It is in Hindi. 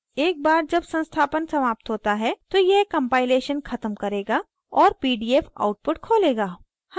एक बार जब संस्थापन समाप्त होता है तो यह compilation ख़त्म करेगा और pdf output खोलेगा